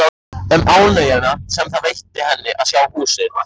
Um ánægjuna sem það veitti henni að sjá húsið.